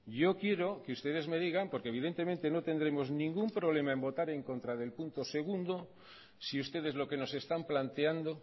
yo quiero que ustedes me digan porque evidentemente no tendremos ningún problema en votar en contra del punto segundo si ustedes lo que nos están planteando